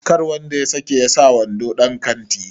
kar wanda ya sake sa wando dan kanti!